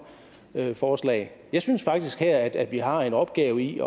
forslag jeg synes faktisk her at vi har en opgave i